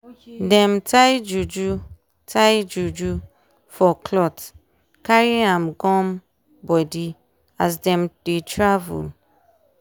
dem tie juju tie juju for clothcarry am gum body as dem dey travel.